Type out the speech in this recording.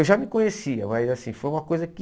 Eu já me conhecia, mas assim foi uma coisa que...